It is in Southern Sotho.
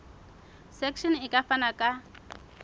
section e ka fana ka